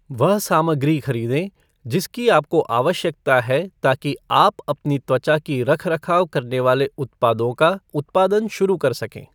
वह सामग्री खरीदें जिसकी आपको आवश्यकता है ताकि आप अपनी त्वचा की रख रखाव करने वाले उत्पादों का उत्पादन शुरू कर सकें।